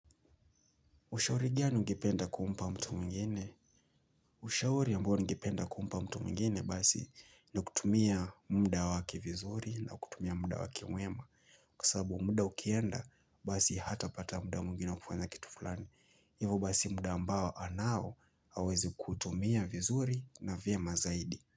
Ushauri gani ungependa kumpa mtu mwingine? Ushauri ambao ningependa kumpa mtu mwingine basi ni kutumia munda waki vizuri na kutumia munda waki mwema. Kwa sasabu munda ukienda basi hatapata munda mwingine wa kufanya kitu fulani. Hivyo basi munda ambao anao aweze kuutumia vizuri na vyema zaidi.